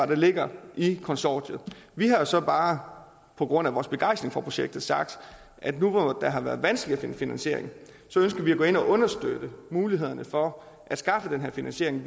der ligger i konsortiet vi har så bare på grund af vores begejstring for projektet sagt at nu hvor det har været vanskeligt at finde finansieringen ønsker vi at gå ind og understøtte mulighederne for at skaffe denne finansiering